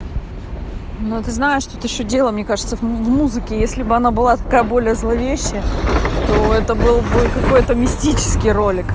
но ты знаешь тут ещё дело мне кажется в музыке если бы она была такая более зловещая то это был какой-то мистический ролик